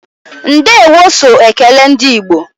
Ndeewo so ekele ndị igbo